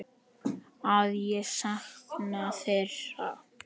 Að ég sakna þeirra.